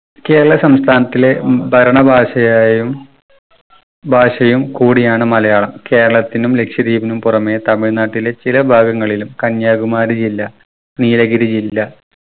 കേരള സംസ്ഥാനത്തിലെ ഉം ഭരണ ഭാഷയായും ഭാഷയും കൂടിയാണ് മലയാളം. കേരളത്തിനും ലക്ഷദ്വീപിനും പുറമെ തമിഴ്‌നാട്ടിലെ ചില ഭാഗങ്ങളിലും കന്യാകുമാരി ജില്ല നീലഗിരി ജില്ല